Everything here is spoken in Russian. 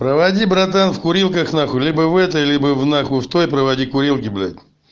проводи братан в курилках нахуй либо в этой либо в нахуй в той проводи курилке блять